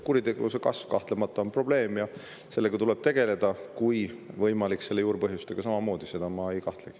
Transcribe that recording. Kuritegevuse kasv on kahtlemata probleem ja sellega tuleb tegeleda, kui võimalik, selle juurpõhjustega samamoodi, selles ma ei kahtlegi.